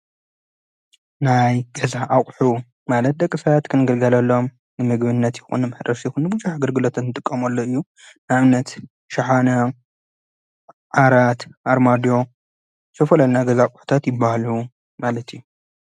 ናይ ገዛ ኣቕሑ ማለት ደቂ ሰባት ንግልጋለሎም ንመግብነት ይኹን ምሕረስ ይኹን ብዙሕ ኣገልግሎቶት እንጥቀመሎም ኣፕ እዩ ።ንኣብነት ሽሓነ ፣ዓራት፣ ኣርማድዮን፥ ስፈለና ገዛ ኣቋሕታት ይበሃሉ ማለት ዩ።